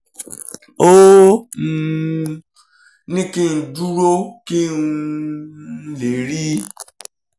ó um ní kí n dúró kí n um lè rí i